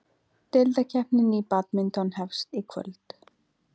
Deildakeppnin í badminton hefst í kvöld